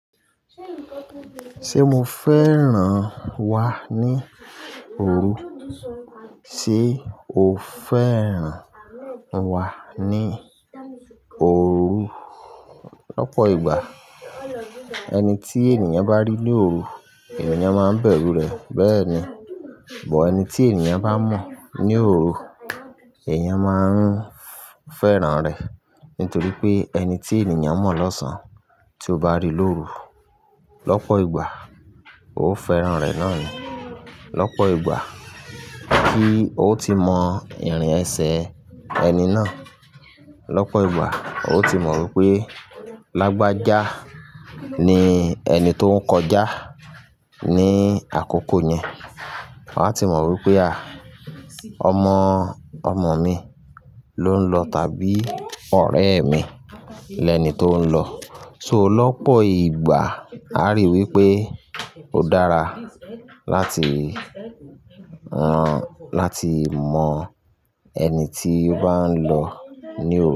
Ṣé mo fẹ́ràn wá ní òru? Sé o fẹ́ràn wá ní òru? Lọ́pọ̀ ìgbà, ẹni tí ènìyàn bá rí ní òru, ènìyàn máa ń bẹ̀rù rẹ̀. Bẹ́ẹ̀ ni, bọ̀ ẹni tí èeyàn bá mọ̀ ní òru, èèyàn máa ń fẹ́ràn rẹ̀. Nítorí pé ẹni tí ènìyàn mọ̀ lọ́sàn tí ó bá rí lóru, lọ́pọ̀ ìgbà ó o fẹ́ràn rẹ̀ náà ni. Lọ́pọ̀ ìgbà kí ó ti mọ ìrìn ẹsẹ̀ ẹni náà. Lọ́pọ̀ ìgbà ó o ti mọ wípé lágbájá ni ẹni tó ń kọjá ní àkókò yẹn. Waa ti mọ wípé ọmọ, ọmọ mi ló ń lọ tàbí ọ̀rẹ́ mi lẹni tó ń lọ. So lọ́pọ̀ ìgbà á ríi wípé ó dára láti, láti mọ ẹni tí ó bá ń lọ ní òru.